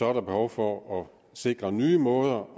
er der behov for at sikre nye måder